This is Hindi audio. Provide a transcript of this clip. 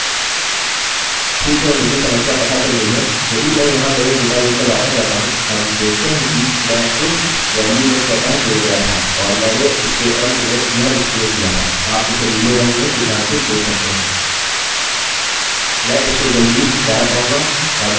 ठीक है मुझे समस्या पता चल गई है यदि मैं यहाँ मेरे डेटाबेस पर वापस जाता हूँ हम देखते हैं कि मैं इस वेल्यू में स्वतः जुड़ गया था और मैंने इसके अन्त में यह स्पेस दिया था आप इसे नीले रंग में चिन्हांकित देख सकते हैं मैं इससे जल्दी ही छुटकारा पाऊँगा और मैं अपने पेज पर वापस आऊँगा